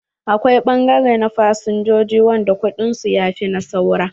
Akwai ɓangare na fasinjoji wanda kuɗin su ya fi na saura.